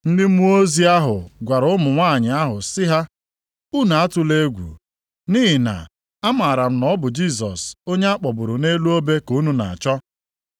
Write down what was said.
Ma mmụọ ozi ahụ gwara ụmụ nwanyị ahụ sị ha, “Unu atụla egwu, nʼihi na amaara m na ọ bụ Jisọs onye a kpọgburu nʼelu obe ka unu na-achọ.